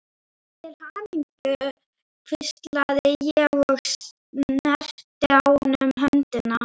Til hamingju hvíslaði ég og snerti á honum höndina.